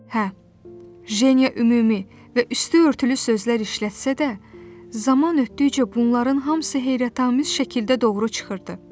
Hə, Jeniya ümumi və üstüörtülü sözlər işlətsə də, zaman ötdükcə bunların hamısı heyrətamiz şəkildə doğru çıxırdı.